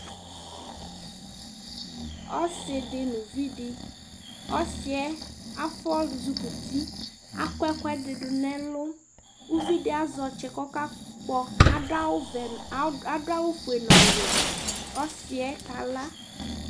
ɔse di no uvi di ɔsiɛ afɔ zukuti akɔ ɛkoɛdi do n'ɛlu uvi di azɛ ɔtsɛ k'ɔka kpɔ ado awu vɛ ado awu fue n'ɔwɛ ɔsiɛ kala